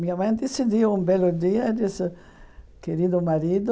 Minha mãe decidiu um belo dia e disse, querido marido,